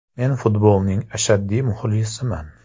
Men futbolning ashaddiy muxlisiman.